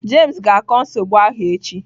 Jame ga-akọ nsogbu ahụ echi.